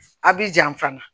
A bi jan fana